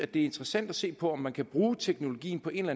det er interessant at se på om man kan bruge teknologien på en